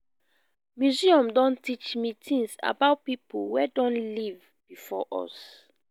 museum don teach me tins about people wey don live before us